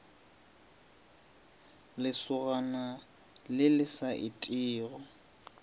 lesogana le le sa etego